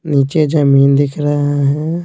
नीचे जमीन दिख रहे है।